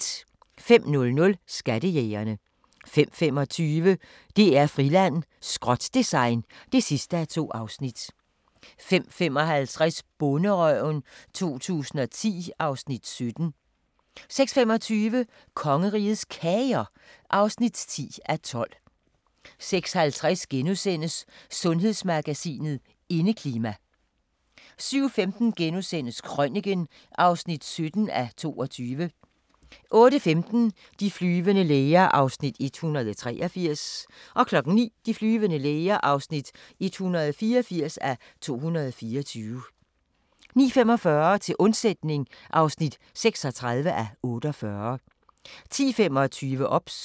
05:00: Skattejægerne 05:25: DR-Friland: Skrot-design (2:2) 05:55: Bonderøven 2010 (Afs. 17) 06:25: Kongerigets Kager (10:12) 06:50: Sundhedsmagasinet: Indeklima * 07:15: Krøniken (17:22)* 08:15: De flyvende læger (183:224) 09:00: De flyvende læger (184:224) 09:45: Til undsætning (36:48) 10:25: OBS